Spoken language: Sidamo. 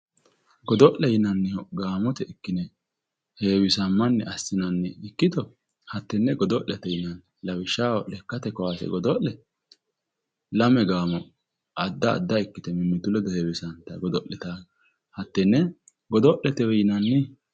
godo'le yinannhihu gaamote ikkine heewisammanni assinanni ikkito hattenne godo'lete yinanni lawishshaho lekkate kaase godo'le lame gaamo adda adda ikkite mimmitu ledo heewisantanno hattenne godo'letewe yinanni